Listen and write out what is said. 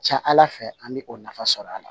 Ca ala fɛ an bɛ o nafa sɔrɔ a la